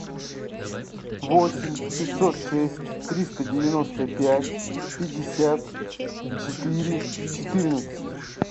восемь пятьсот шесть триста девяносто пять пятьдесят четыре четырнадцать